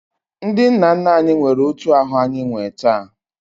Ndị nna nna anyị nwere otu ahụ anyị nwee taa